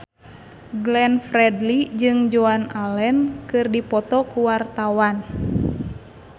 Glenn Fredly jeung Joan Allen keur dipoto ku wartawan